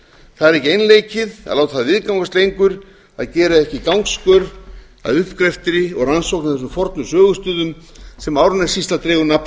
það er ekki einleikið að láta það viðgangast lengur að gera ekki gangskör að uppgrefti og rannsóknum á þessum fornu sögustöðum sem árnessýsla dregur nafn